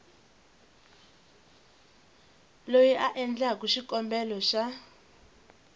loyi a endlaku xikombelo xa